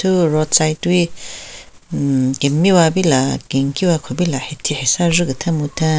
Thu roadside wi hmm kemiwa pila kenkiwa khupila hathi hasan jhu ketheng mutheng.